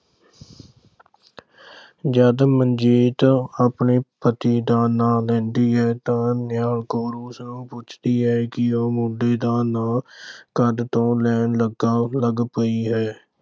ਜਦ ਮਨਜੀਤ ਆਪਣੇ ਪਤੀ ਦਾ ਨਾਂ ਲੈਂਦੀ ਹੈ ਤਾਂ ਨਿਹਾਲ ਕੌਰ ਉਸਨੂੰ ਪੁੱਛਦੀ ਹੈ ਕਿ ਉਹ ਮੁੰਡੇ ਦਾ ਨਾਂ ਕਦ ਤੋਂ ਲੈਣ ਲੱਗ ਪਈ ਹੈ।